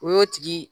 O y'o tigi